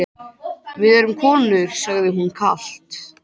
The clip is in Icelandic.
Við erum konur, sagði hún kalt.